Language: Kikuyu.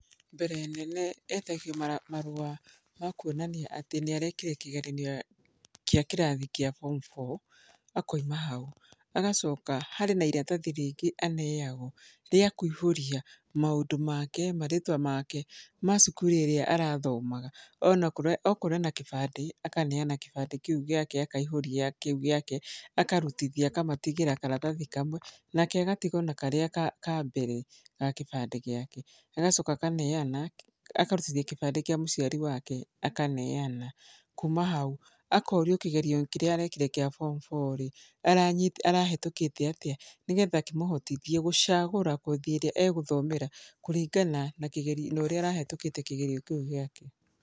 Mbere nene etagio marũa makwonania atĩ nĩ arekire kĩgeranio gĩa kĩrathi gal Form Four, akoima hau harĩ iratathi rĩngĩ aneagwo rĩa kũihũria maũndũ make marĩtwa make ma cukuru ĩrĩa arathomaga , okorwo ena kĩbandĩ akaneana kĩbandĩ kĩu gĩake akaihũria, akarutithia kĩu gĩake akamũtigĩra karatathi kamwe nake agatigwo na karĩa ka mbere ya kĩbandĩ, agacoka akaneana, akarutithia kĩbandĩ kĩa mũciari wake akaneana kuma hau akorio kĩgerio kĩrĩa arekire gĩa Form Four rĩ arahetũkĩte atĩa nĩgetha, kĩmũhotothie gũchagũra kothi ĩrĩa egũthomera kũringana na ũrĩa arahetũkĩte kĩgerio kĩu gĩake.